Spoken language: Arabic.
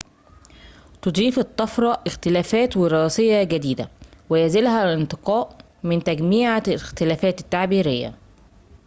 تضيف الطفرة اختلافات وراثيّة جديدة ويزيلها الانتقاء من تجميعة الاختلافات التعبيريّة